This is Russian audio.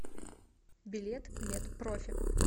билет мед профи